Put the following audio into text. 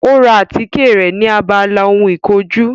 Ó ra àtíkè rẹ̀ ni abala ohun ìkojú